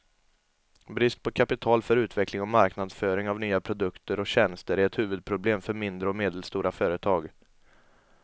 Brist på kapital för utveckling och marknadsföring av nya produkter och tjänster är ett huvudproblem för mindre och medelstora företag.